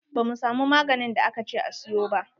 Ba mu samu maganin da aka ce a siyo ba.